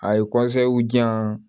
A ye di yan